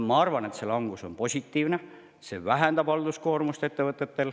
Ma arvan, et see langus on positiivne, sest see vähendab ettevõtete halduskoormust.